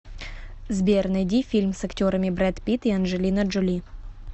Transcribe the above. сбер найди фильм с актерами бред пит и анджелина джоли